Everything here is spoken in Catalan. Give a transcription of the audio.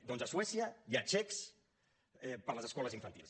doncs a suècia hi ha xecs per a les escoles infantils